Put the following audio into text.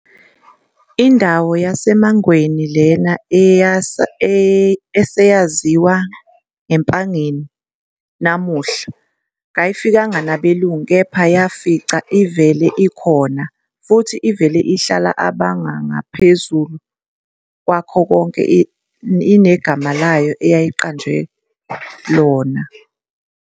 Indawo yaseMangweni lena eseyaziwa ngeMpangeni namuhla kayifikanga nabelungu kepha bayifica ivele ikhona futhi ivele ihlala abangu ngaphazu kwakho konke inegama layo eyayiqanjwe lona.